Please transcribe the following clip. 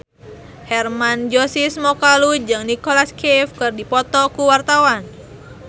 Hermann Josis Mokalu jeung Nicholas Cafe keur dipoto ku wartawan